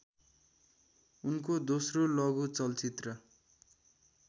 उनको दोस्रो लघु चलचित्र